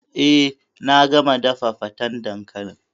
Eh, na gama dafa fatan dankalin.